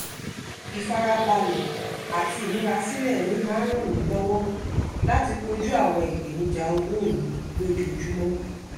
ìfarabalẹ̀ àti ìmúrasílẹ̀ mi máa ń ràn mí lọ́wọ́ láti kojú àwọn ìpèníjà òwò mi lójoojúmọ́